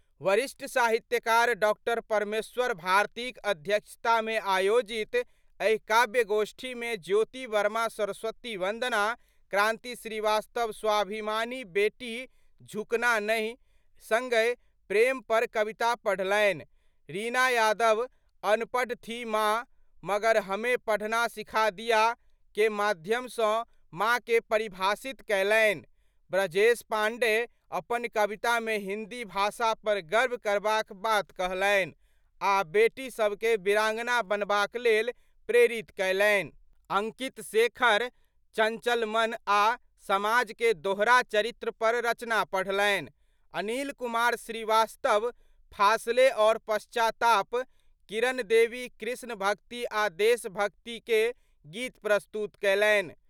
वरिष्ठ साहित्यकार डॉ परमेश्वर भारतीक अध्यक्षता मे आयोजित एहि काव्य-गोष्ठी में ज्योति वर्मा सरस्वती वंदना, क्रांति श्रीवास्तव स्वाभिमानी बेटी झुकना नहीं, संगहि प्रेम पर कविता पढ़लनि, रीना यादव :अनपढ़ थी मां मगर हमें पढ़ना सीखा दिया ...' के माध्यम सं मां के परिभाषित कयलनि, ब्रजेश पांडेय अपन कविता मे हिंदी भाषा पर गर्व करबाक बात कहलनि आ' बेटीसभकें वीरांगना बनबाक लेल प्रेरित कयलनि, अंकित शेखर चंचल मन आ' समाज के दोहरा चरित्र पर रचना पढ़लनि, अनिल कुमार श्रीवास्तव 'फासले और पश्चाताप', किरण देवी कृष्ण भक्ति आ' देश भक्ति के गीत प्रस्तुत कयलनि।